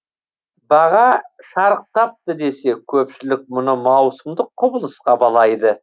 баға шарықтапты десе көпшілік мұны маусымдық құбылысқа балайды